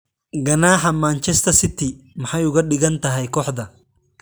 Ganaaxa Manchester City: maxay uga dhigan tahay kooxda?